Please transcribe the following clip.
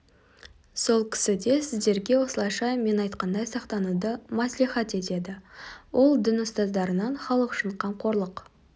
сол кісі де сіздерге осылайша мен айтқандай сақтануды мәслихат етеді ол дін ұстаздарынан халық үшін қамқорлық